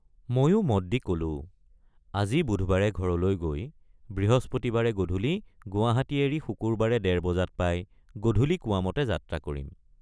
ময়ো মত দি কলোঁ আজি বুধবাৰে ঘৰলৈ গৈ বৃহস্পতিবাৰে গধুলি গুৱাহাটী এৰি শুকুৰবাৰে ডেৰ বজাত পাই গধূলি কোৱামতে যাত্ৰা কৰিম।